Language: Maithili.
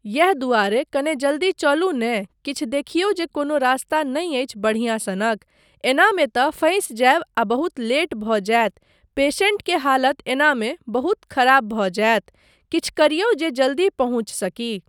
यैह दुआरे कने जल्दी चलू ने, किछु देखियौ जे कोनो रास्ता नहि अछि बढ़िआँ सनक? एनामे तँ फँसि जायब आ बहुत लेट भऽ जायत, पेशेंट के हालत एनामे बहुत खराब भऽ जायत। किछु करियौ जे जल्दी पहुँच सकी।